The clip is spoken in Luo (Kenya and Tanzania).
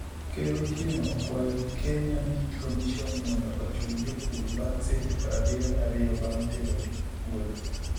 Ker Otieno okwayo Kenya Meat Commission mondo ochul jopur bang' seche 72 bang' terogi e puodho